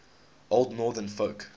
old northern folk